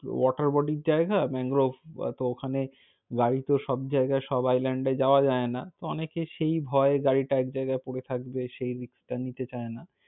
water body র জায়গা mangrove বা, তো ওখানে গাড়ি তো সব জায়গায় সব island এ যাওয়া যায় না। অনেকে সেই ভয়ে গাড়িটা এক জায়গায় পড়ে থাকবে সেই risk টা নিতে চায়না।